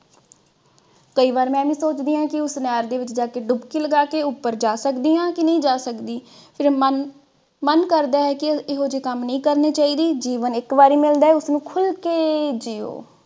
ਕਈ ਵਾਰ ਮੈਂ ਵੀ ਸੋਚਦੀ ਹਾਂ ਕੀ ਉਸ ਨਹਿਰ ਦੇ ਵਿਚ ਡੁਪਕੀ ਲਗਾ ਕੇ ਉਪਰ ਜਾ ਸਕਦੀ ਹਾਂ ਕਿ ਨਹੀ ਜਾ ਸਕਦੀ। ਫਿਰ ਮਨ ਮਨ ਕਰਦਾ ਹੈ ਕਿ ਇਹੋ ਜੇ ਕੰਮ ਨਹੀਂ ਕਰਨੇ ਚਾਹੀਦੇ। ਜੀਵਨ ਇਕ ਵਾਰੀ ਮਿਲਦਾ ਹੈ ਉਸਨੂੰ ਖੁਲ ਕੇ ਜਿਓ।